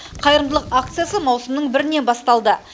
қайырымдылық акциясы маусымның бірінен басталды